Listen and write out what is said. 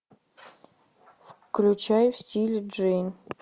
включай в стиле джейн